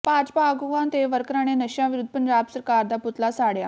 ਭਾਜਪਾ ਆਗੂਆਂ ਤੇ ਵਰਕਰਾਂ ਨੇ ਨਸ਼ਿਆਂ ਵਿਰੁੱਧ ਪੰਜਾਬ ਸਰਕਾਰ ਦਾ ਪੁਤਲਾ ਸਾੜਿਆ